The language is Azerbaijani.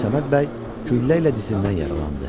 Əbdülsəməd bəy güllə ilə dizindən yaralandı.